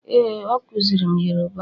ee, o kuziri m Yoruba